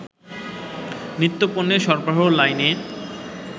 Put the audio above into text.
নিত্যপণ্যের সরবরাহ লাইনে